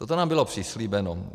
Toto nám bylo přislíbeno.